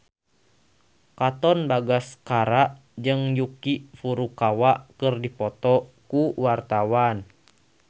Katon Bagaskara jeung Yuki Furukawa keur dipoto ku wartawan